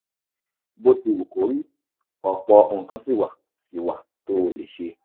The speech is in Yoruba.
bó ti wù kó rí ọ̀pọ̀ nǹkan ṣì wà ṣì wà tó o lè ṣe